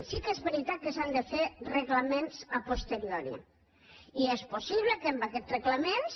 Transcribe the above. sí que és veritat que s’han de fer reglaments a posterioriamb aquests reglaments